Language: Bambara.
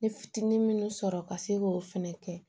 N ye fitinin minnu sɔrɔ ka se k'o fɛnɛ kɛ